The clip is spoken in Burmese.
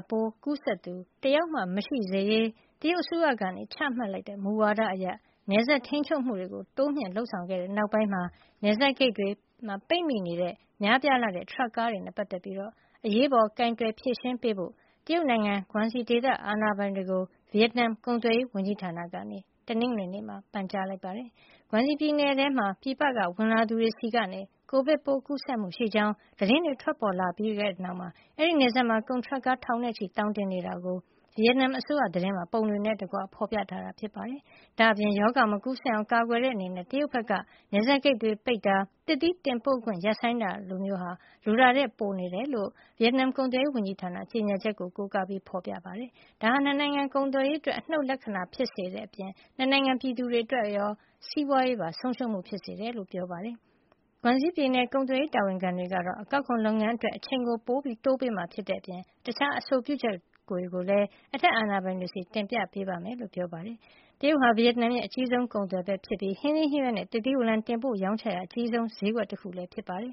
ပိုး ကူးစက်သူ တယောက်မှ မရှိစေရေး တရုတ်အစိုးရ ချမှတ်လိုက်တဲ့ မူဝါဒအရ နယ်စပ်ထိန်းချုပ်မှုတွေ တိုးမြှင့်လုပ်ဆောင်ခဲ့တဲ့ နောက်ပိုင်း နယ်စပ်ဂိတ်တွေမှာ ပိတ်မိနေတဲ့ များပြားလှတဲ့ ထရပ်ကားတွေနဲ့ ပတ်သက်ပြီး အရေးပေါ် ကိုင်တွယ်ဖြေရှင်းပေးဖို့ တရုတ်နိုင်ငံ Guangxi ဒေသ အာဏာပိုင်တွေကို ဗီယက်နမ် ကုန်သွယ်ရေးဝန်ကြီးဌာနက ပန်ကြားလိုက်ပါတယ်။ Guangxi ပြည်နယ်ထဲမှာ ပြည်ပက ဝင်လာသူတွေဆီကနေ ကိုဗစ်ကူးစက်မှုရှိကြောင်း သတင်းတွေ ထွက်ပေါ်လာခဲ့ပြီးတဲ့နောက် အဲဒီနယ်စပ်မှာ ကုန်ထရပ်ကား ထောင်နဲ့ချီပြီး သောင်တင်နေတာကို ဗီယက်နမ်အစိုးရ သတင်းမှာ ပုံတွေနဲ့တကွ ဖော်ပြထားပါတယ်။ ဒါ့အပြင် ရောဂါမကူးစက်အောင် ကာကွယ်တဲ့အနေနဲ့ တရုတ်ဘက်က နယ်စပ်ဂိတ်တွေ ပိတ်တာ၊ သစ်သီးတင်ပို့ခွင့် ရပ်ဆိုင်းလိုက်တာမျိုးတွေဟာ လိုအပ်တာထက် ပိုနေတယ်လို့ ဗီယက်နမ် ကုန်သွယ်ရေးဝန်ကြီးဌာနရဲ့ ကြေညာချက်ကို ကိုးကားပြီး ဖော်ပြထားသလို ဒါဟာ ၂ နိုင်ငံ ကုန်သွယ်ရေးအတွက် အနှုတ်လက္ခဏာ ဖြစ်စေတဲ့အပြင် ၂ နိုင်ငံ ပြည်သူတွေရော စီးပွားရေးပါ ဆုံးရှုံးမှု ဖြစ်စေတယ်လို့လည်း ဆိုပါတယ်။ Guangxi ပြည်နယ် ကုန်သွယ်ရေး တာဝန်ခံတွေကတော့ အကောက်ခွန်လုပ်ငန်းအတွက် အချိန်တိုးပေးမှာ ဖြစ်တဲ့အပြင် တခြား အဆိုပြုချက်တွေကိုလည်း အထက်အာဏာပိုင်တွေဆီ တင်ပြပေးမယ်လို့ ပြန်လည်တုံ့ပြန်ခဲ့ပါတယ်။ တရုတ်ဟာ ဗီယက်နမ်ရဲ့ အကြီးဆုံး ကုန်သွယ်ဘက်ဖြစ်ပြီး ဟင်းသီးဟင်းရွက်နဲ့ သစ်သီးဝလံ တင်ပို့ရောင်းချရာ အကြီးဆုံးဈေးကွက်လည်း ဖြစ်ပါတယ်